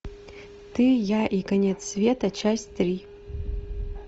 ты я и конец света часть три